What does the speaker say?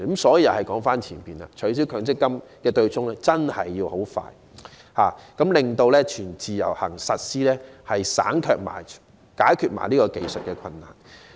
所以，話又須說回前面，取消強積金對沖機制真的要盡快進行，令"全自由行"得以實施，解決這個技術困難。